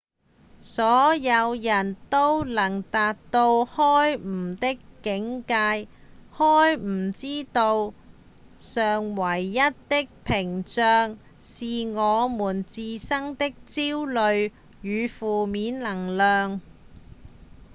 所有人都能達到開悟的境界開悟之道上唯一的障礙是我們自身的焦慮與負面能量